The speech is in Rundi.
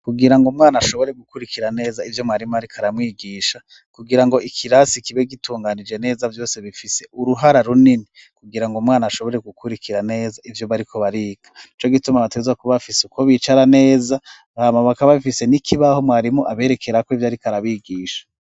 Kugira ngo mwana ashobore gukurikira neza ivyo mwarimu, ariko aramwigisha kugira ngo ikirasi kibe gitunganije neza vyose bifise uruhara runini kugira ngo mwana ashobore gukurikira neza ivyo bariko barika ni co gituma abateza kubafise uko bicara neza bhamabaka bafise n'ikibaho mwarimu aberekerako ivyo, ariko arabigisha.